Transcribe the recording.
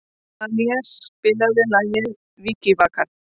Talía, spilaðu lagið „Vikivakar“.